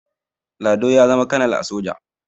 lado ya zama kanal na soja